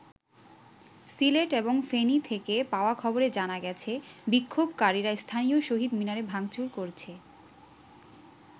সিলেট এবং ফেনি থেকে পাওয়া খবরে জানা গেছে বিক্ষোভকারীরা স্থানীয় শহীদ মিনারে ভাংচুর করেছে।